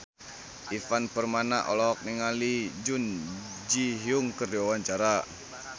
Ivan Permana olohok ningali Jun Ji Hyun keur diwawancara